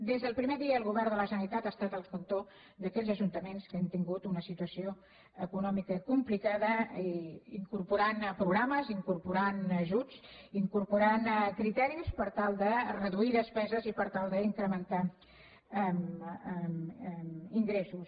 des del primer dia el govern de la generalitat ha estat al cantó d’aquells ajuntaments que han tingut una situació econòmica complicada incorporant programes incorporant ajuts incorporant criteris per tal de reduir despeses i per tal d’incrementar ingressos